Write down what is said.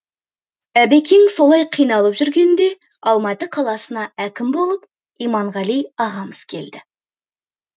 әбекең солай қиналып жүргенде алматы қаласына әкім болып иманғали ағамыз келді